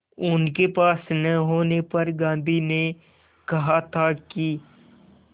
उनके पास न होने पर गांधी ने कहा था कि